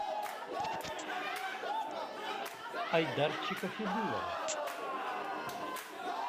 айдарчика федулова